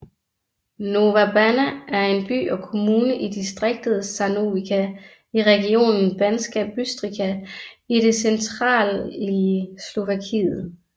Nová Baňa er en by og kommune i distriktet Žarnovica i regionen Banská Bystrica i det centralige Slovakiet